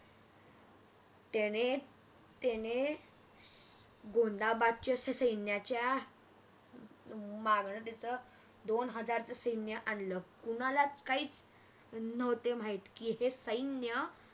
त्याने त्याने गोंदाबादचे सैन्याच्या मागणार दोन हजारच सैन्य आणल कोणालाच काहीच नव्हते माहीत की येथे सैन्य